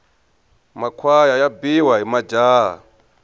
makhwaya ya biwa hi majaha